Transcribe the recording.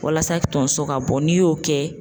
Walasa tonso ka bɔ n'i y'o kɛ